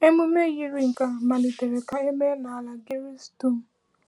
Emume yiri nke a malitere ka e mee n’ala Gris dum.